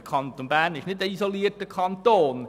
Der Kanton Bern ist kein isolierter Kanton.